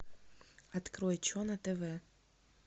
открой че на тв